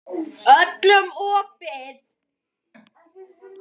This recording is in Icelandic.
Öllum opið.